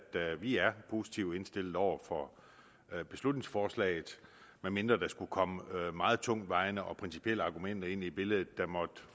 vi er positivt indstillet over for beslutningsforslaget medmindre der skulle komme meget tungtvejende og principielle argumenter ind i billedet